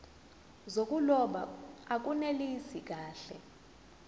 zokuloba akunelisi kahle